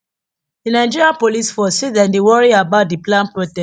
di nigeria police force say dem dey worry about di planned protest